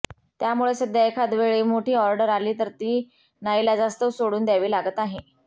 त्यामुळे सध्या एखादवेळी मोठी ऑर्डर आली तर ती नाइलाजास्तव सोडून द्यावी लागत आहे